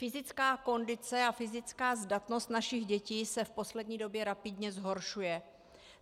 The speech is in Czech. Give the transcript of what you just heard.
Fyzická kondice a fyzická zdatnost našich dětí se v poslední době rapidně zhoršuje.